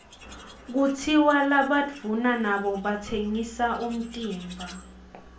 kutsiwa labaduuna nabo batsengba umtimba